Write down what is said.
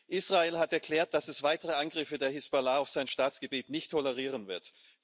Israel hat erklärt, dass es weitere Angriffe der Hisbollah auf sein Staatsgebiet nicht tolerieren wird.